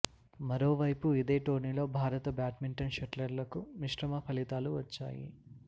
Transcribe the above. మరోవైపు ఇదే టోర్నీలో భారత బ్యాడ్మింటన్ షట్లర్లకు మిశ్రమ ఫలితాలు వచ్చాయి